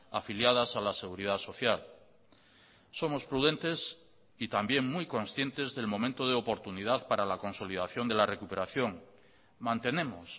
afiliadas a la seguridad social somos prudentes y también muy conscientes del momento de oportunidad para la consolidación de la recuperación mantenemos